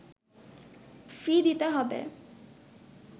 ফি দিতে হবে